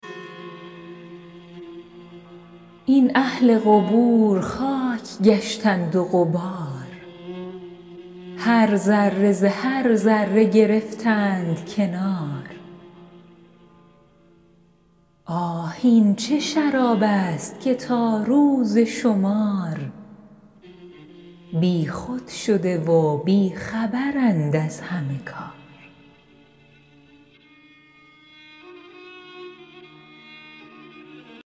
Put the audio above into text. این اهل قبور خاک گشتند و غبار هر ذره ز هر ذره گرفتند کنار آه این چه شراب است که تا روز شمار بیخود شده و بی خبرند از همه کار